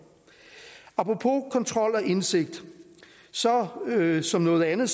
apropos kontrol og indsigt står vi jo som noget andet